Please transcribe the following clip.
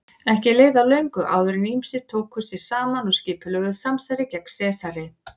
Ekki leið á löngu áður en ýmsir tóku sig saman og skipulögðu samsæri gegn Sesari.